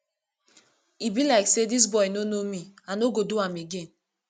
e be like say dis boy no know me i no go do am again